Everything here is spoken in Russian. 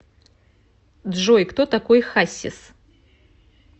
джой кто такой хассис